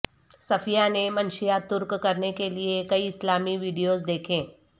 صفیہ نے منشیات ترک کرنے کے لیے کئی اسلامی ویڈیوز دیکھیں